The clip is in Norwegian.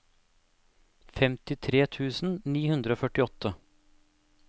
femtitre tusen ni hundre og førtiåtte